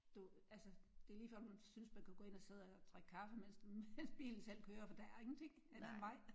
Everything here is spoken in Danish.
Du altså det er lige før man synes man kan gå ind og sidde og drikke kaffe mens mens bilen selv kører for der er ingenting end en vej